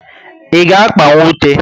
I ga akpanwu ute?